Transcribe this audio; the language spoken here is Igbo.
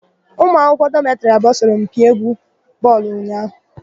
Ụmụ akwụkwọ dọmetịrị abụọ sọrọ mpi égwú bọọlụ ụnyaahụ.